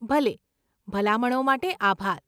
ભલે, ભલામણો માટે આભાર.